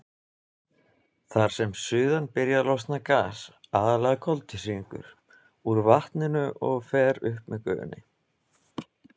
Þar sem suðan byrjar losnar gas, aðallega koltvísýringur, úr vatninu og fer upp með gufunni.